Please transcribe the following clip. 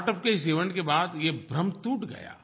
startup के इस event के बाद ये भ्रम टूट गया